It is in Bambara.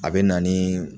A bɛ na ni